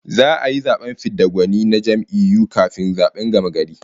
Za'a yi zaben fid da gwani na jam'iyyu kafin zaben gamagari